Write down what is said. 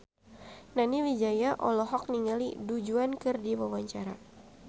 Nani Wijaya olohok ningali Du Juan keur diwawancara